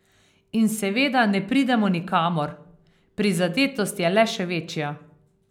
In seveda ne pridemo nikamor, prizadetost je le še večja.